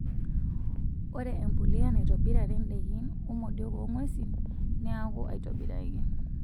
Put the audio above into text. Ore empuliya naitobirare indaikin womodiok oong'wesin nekuu aitobiraki.